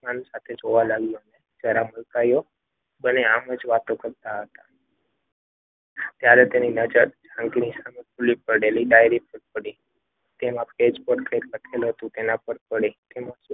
જરા મલકાયો. બંને આમ જ વાતો કરતા હતા. ત્યારે તેની નજર જાનકીની સામે પડેલી પેલી ડાયરી ખુલ્લી પડેલી ડાયરી પર પડી તેમાં ભેદ લખેલું હતું.